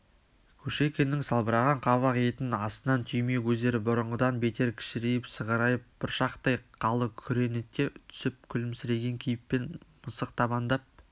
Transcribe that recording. кушекиннің салбыраған қабақ етінің астынан түйме көздері бұрынғыдан бетер кішірейіп сығырайып бұршақтай қалы күреңіте түсіп күлімсіреген кейіппен мысықтабандап